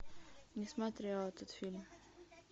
не смотрела этот фильм